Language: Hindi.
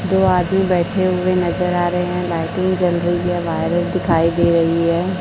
दो आदमी बैठे हुए नजर आ रहे हैं। लाइटिंग जल रही है वायर दिखाई दे रही है।